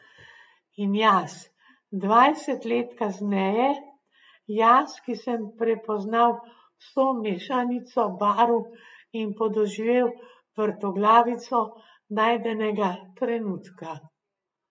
In jaz, dvajset let kasneje, jaz, ki sem prepoznal vso mešanico barv in podoživel vrtoglavico najdenega trenutka.